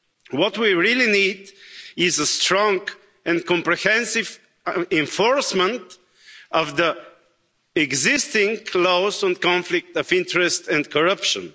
What we really need is the strong and comprehensive enforcement of the existing clause on conflict of interest and corruption.